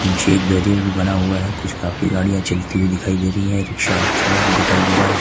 पीछे एक बैरियर भी बना हुआ है कुछ काफी गाड़िया चलती हुई दिखाई दे रही है रिक्शा और चालक भी दिखाई दे रहा है।